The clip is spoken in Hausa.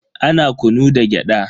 Ana kunu da gyada.